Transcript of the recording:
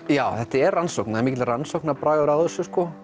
þetta er rannsókn það er mikill rannsóknar bragur á þessu sko